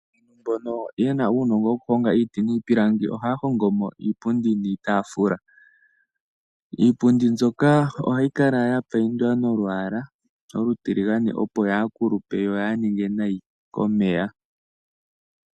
Mboka ye na uunongo wokuhonga iiti niipilangi ohaya hongo mo iipundi niitaafula. Iipundi mbyoka ohayi kala ya payindwa nolwaala olutiligane, opo yaa kulupe yo yaa ninge nayi komeya.